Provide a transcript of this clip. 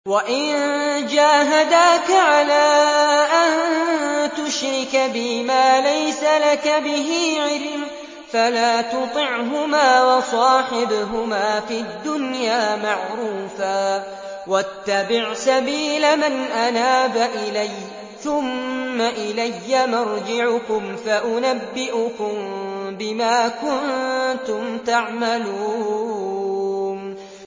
وَإِن جَاهَدَاكَ عَلَىٰ أَن تُشْرِكَ بِي مَا لَيْسَ لَكَ بِهِ عِلْمٌ فَلَا تُطِعْهُمَا ۖ وَصَاحِبْهُمَا فِي الدُّنْيَا مَعْرُوفًا ۖ وَاتَّبِعْ سَبِيلَ مَنْ أَنَابَ إِلَيَّ ۚ ثُمَّ إِلَيَّ مَرْجِعُكُمْ فَأُنَبِّئُكُم بِمَا كُنتُمْ تَعْمَلُونَ